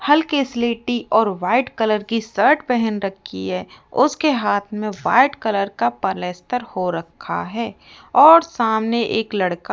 हल्के स्लेटी और वाइट कलर की शर्ट पहन रखी है उसके हाथ में व्हाइट कलर का पलेस्तर हो रखा है और सामने एक लड़का --